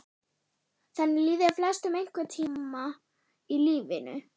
Þannig líður flestum einhvern tíma í lífinu.